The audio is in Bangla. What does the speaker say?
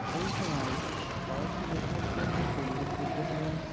এই সময় ফরাসি লেখকদের মধ্যে উল্লেখযোগ্য হলেন